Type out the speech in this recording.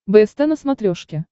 бст на смотрешке